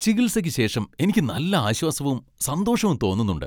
ചികിത്സയ്ക്ക് ശേഷം എനിക്ക് നല്ല ആശ്വാസവും സന്തോഷവും തോന്നുന്നുണ്ട്.